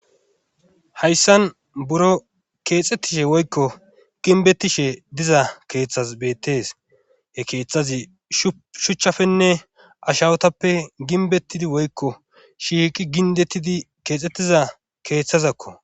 Hayssan buro keexxettishe woykko ginbettishe diza keeththaz beettees e keeththazi sshuchchafenne ashawotappe ginbettidi woykko shiiqi gindettidi keexxettiza keeththazakko.